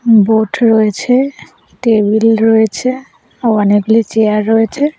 Boat রয়েছে table রয়েছে ও অনেকগুলি চেয়ার রয়েছে।